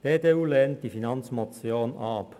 Die EDU lehnt die Finanzmotion ab.